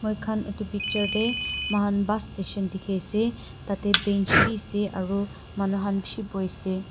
moikhan edu picture tae mohan bus station dikhiase tatae bench bi ase aru manu khan bishi boiase.